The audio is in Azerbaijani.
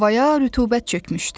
Havaya rütubət çökmüşdü.